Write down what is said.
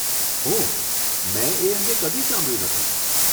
ઓહ, મેં એ અંગે કદી સાંભળ્યું નથી.